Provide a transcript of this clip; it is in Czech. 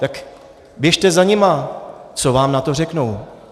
Tak běžte za nimi, co vám na to řeknou.